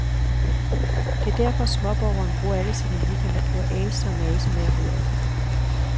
Det er derfor småborgeren bruger alle sine weekender på at ase og mase med at rydde op.